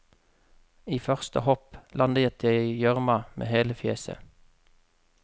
I første hopp landet jeg i gjørma med hele fjeset.